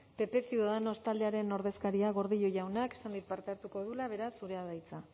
pp ciudadanos taldearen ordezkaria gordillo jauna esan dit parte hartuko duela beraz zurea da hitza